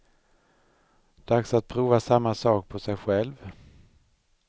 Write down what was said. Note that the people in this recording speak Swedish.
Dags att prova samma sak på sig själv.